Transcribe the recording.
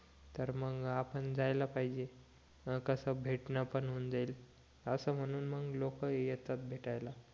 तर मग आपण जायला पाहिजे हं कस भेटणं पण होऊन जाईल असं म्हणून मग लोक येतात भेटायला